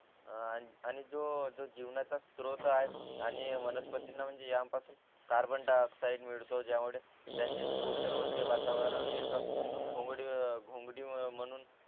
आणि जो जो जीवनाचा स्त्रोत आहे आणि वनस्पतींना म्हणजे यान पासून कार्बन डाय ऑक्साईड मिळतो ज्यामुळे त्यांचे पोषण होते वातावरण एक भोंगळी भोंगळी म्हणून